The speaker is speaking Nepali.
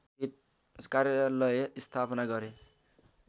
कार्यालय स्थापना गरे